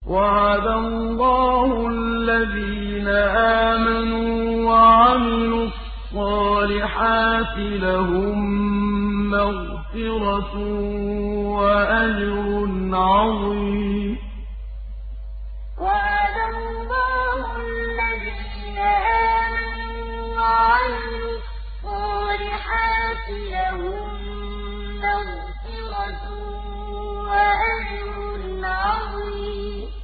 وَعَدَ اللَّهُ الَّذِينَ آمَنُوا وَعَمِلُوا الصَّالِحَاتِ ۙ لَهُم مَّغْفِرَةٌ وَأَجْرٌ عَظِيمٌ وَعَدَ اللَّهُ الَّذِينَ آمَنُوا وَعَمِلُوا الصَّالِحَاتِ ۙ لَهُم مَّغْفِرَةٌ وَأَجْرٌ عَظِيمٌ